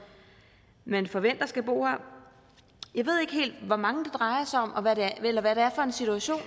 man forventer skal bo her jeg ved ikke helt hvor mange det drejer sig om eller hvad det er for en situation